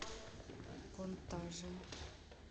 контажен